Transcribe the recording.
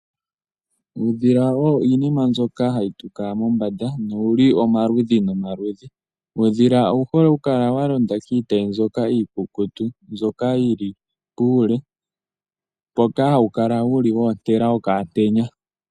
Uudhila Owo iinima mbyoka hayi tuka mombanda, nowuli omaludhi nomaludhi, uudhila owu hole oku kala wa londa kiitayi mbyoka iikukutu, mbyoka yili puule, mpoka hawu kala wuli woontela okaantenya.